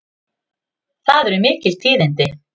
Það eru mikil tíðindi!